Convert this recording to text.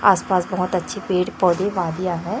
आसपास बहुत अच्छे पेड़ पौधे वादियां हैं।